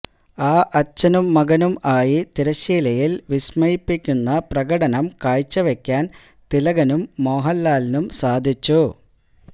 ആ അച്ഛനും മകനും ആയി തിരശ്ശീലയിൽ വിസ്മയിപ്പിക്കുന്ന പ്രകടനം കാഴ്ച്ച വെയ്ക്കാൻ തിലകനും മോഹൻലാലിനും സാധിച്ചു